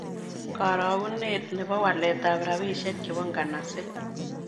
Karogunet ne po waletap rabisiek chebo nganaset